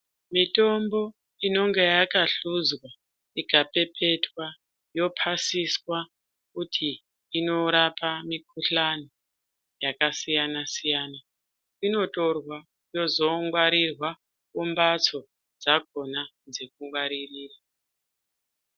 Mitombo inenge yakahlozwa ikapepetwa yopasisa kuti inorapa mikuhlani yakasiyana siyana inotorwa yozongwarirwa kumbatso dzakona dzekungwaririra.